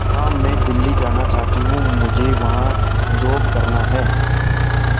मां मैं दिल्ली जाना चाहते हूँ मुझे वहां जॉब करना है